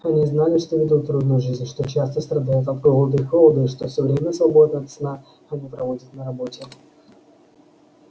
они знали что ведут трудную жизнь что часто страдают от голода и холода и что всё время свободное от сна они проводят на работе